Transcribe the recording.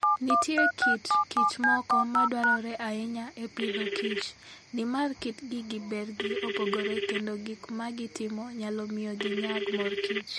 Nitie kit kich moko ma dwarore ahinya e Agriculture and Food, nimar kitgi gi bergi opogore kendo gik ma gitimo nyalo miyo ginyag mor kich .